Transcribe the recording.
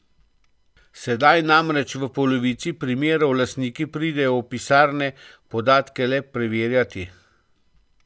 Sedaj namreč v polovici primerov lastniki pridejo v pisarne podatke le preverjati.